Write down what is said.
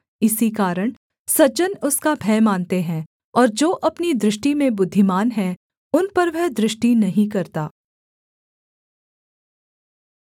इसी कारण सज्जन उसका भय मानते हैं और जो अपनी दृष्टि में बुद्धिमान हैं उन पर वह दृष्टि नहीं करता